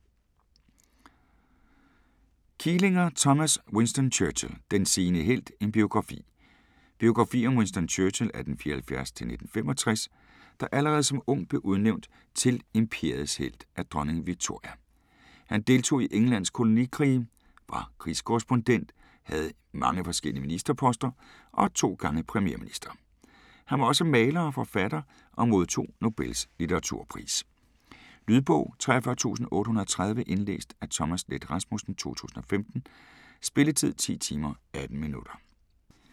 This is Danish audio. Kielinger, Thomas: Winston Churchill: den sene helt: en biografi Biografi om Winston Churchill (1874-1965), der allerede som ung blev udnævnt til "Imperiets helt" af Dronning Victoria. Han deltog i Englands kolonikrige, var krigskorrespondent, havde mange forskellige ministerposter og 2 gange premierminister. Han var også maler og forfatter og modtog Nobels litteraturpris. Lydbog 43830 Indlæst af Thomas Leth Rasmussen, 2015. Spilletid: 10 timer, 18 minutter.